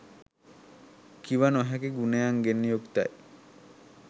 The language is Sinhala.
කිව නොහැකි ගුණයන්ගෙන් යුක්තයි